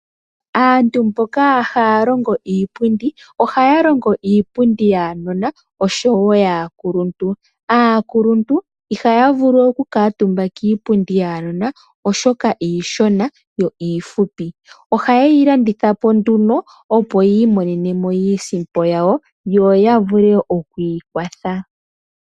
Aantu mboka haya longo iipundi ohaya longo iipundi yaanona oshowo yaakuluntu, aakuluntu ihaya vulu oku kala omutumba kiipundu yaanona oshoka iishona yo iifupi, oha yeyi landitha po nduno opo yi imonene mo iisipo yawo yo ya vule oku ikwatha.